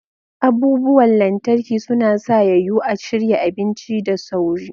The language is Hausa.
Abubuwan lantarki suna sa ya yiwu a shirya abinci da sauri.